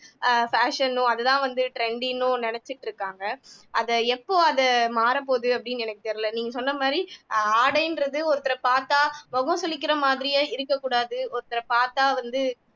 ஆஹ் fashion னும் அது தான் வந்து trendy னும் நினைச்சிட்டு இருக்காங்க அத எப்போ அது மாற போது அப்படின்னு எனக்கு தெரியல நீங்க சொன்ன மாறி ஆஹ் ஆடைன்றது ஒருத்தர பாத்தா முகம் சுளிக்கிற மாதிரியே இருக்கக்கூடாது ஒருத்தர பாத்தா வந்து